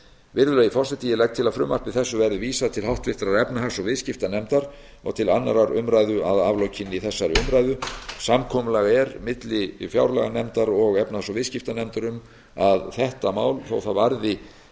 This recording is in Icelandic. virðulegi forseti ég legg til að frumvarpi þessu verði vísað til háttvirtrar efnahags og viðskiptanefndar og til annarrar umræðu að aflokinni þessari umræðu samkomulag er milli fjárlaganefndar og efnahags og viðskiptanefndar um að þetta mál þótt það varði